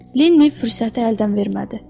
Lenni fürsəti əldən vermədi.